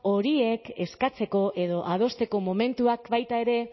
horiek eskatzeko edo adosteko momentuak baita ere